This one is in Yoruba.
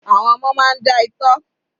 Àwọn ọmọ máa ń já itọ́.